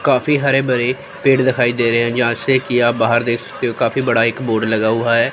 काफी हरे भरे पेड़ दिखाई दे रहे हैं जहां से कि बाहर देख सकते हो काफी बड़ा एक बोर्ड लगा हुआ है।